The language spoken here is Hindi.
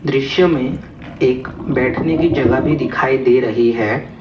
दृश्य में एक बैठने की जगह भी दिखाई दे रही है।